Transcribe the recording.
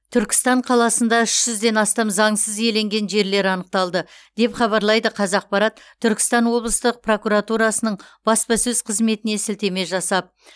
түркістан қаласында үш жүзден астам заңсыз иеленген жерлер анықталды деп хабарлайды қазақпарат түркістан облыстық прокуратурасының баспасөз қызметіне сілтеме жасап